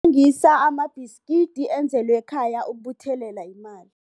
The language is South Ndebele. Ungathengisa amabhiskidi enzelwe ekhaya ukubuthelela imali.